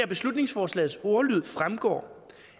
beslutningsforslagets ordlyd fremgår